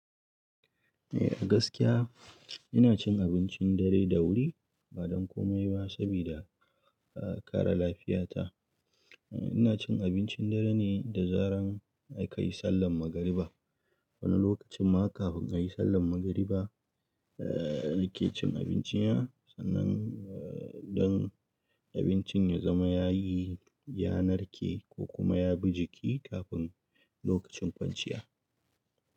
Eh a gaskiya ina cin abincin dare da wuri, ba don komai ba sabida ƙare lafiyata. Ina cin abincin dare ne da zaran a ka yi sallar magariba. Wani lokacin ma kafin a yi sallar magariba eh ake cin abincin ya, sannan idan abincin ya zama ya yi, ya narke ko kuma ya bi jiki kafin lokacin kwanciya.